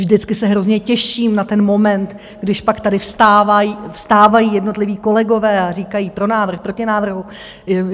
Vždycky se hrozně těším na ten moment, když pak tady vstávají jednotliví kolegové a říkají "pro návrh", "proti návrhu".